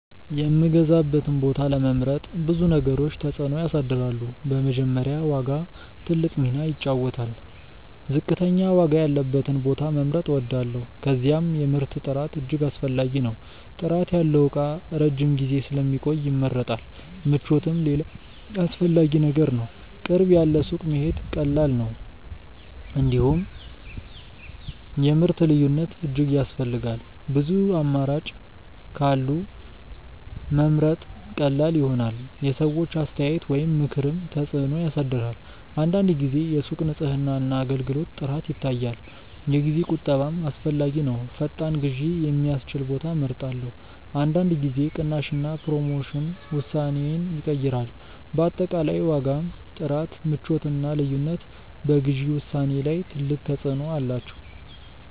የምገዛበትን ቦታ ለመምረጥ ብዙ ነገሮች ተጽዕኖ ያሳድራሉ። በመጀመሪያ ዋጋ ትልቅ ሚና ይጫወታል፤ ዝቅተኛ ዋጋ ያለበትን ቦታ መምረጥ እወዳለሁ። ከዚያም የምርት ጥራት እጅግ አስፈላጊ ነው። ጥራት ያለው እቃ ረጅም ጊዜ ስለሚቆይ ይመረጣል። ምቾትም ሌላ አስፈላጊ ነገር ነው፤ ቅርብ ያለ ሱቅ መሄድ ቀላል ነው። እንዲሁም የምርት ልዩነት እጅግ ያስፈልጋል፤ ብዙ አማራጮች ካሉ መምረጥ ቀላል ይሆናል። የሰዎች አስተያየት ወይም ምክርም ተጽዕኖ ያሳድራል። አንዳንድ ጊዜ የሱቅ ንጽህና እና አገልግሎት ጥራት ይታያል። የጊዜ ቁጠባም አስፈላጊ ነው፤ ፈጣን ግዢ የሚያስችል ቦታ እመርጣለሁ። አንዳንድ ጊዜ ቅናሽ እና ፕሮሞሽን ውሳኔዬን ይቀይራል። በአጠቃላይ ዋጋ፣ ጥራት፣ ምቾት እና ልዩነት በግዢ ውሳኔዬ ላይ ትልቅ ተጽዕኖ አላቸው።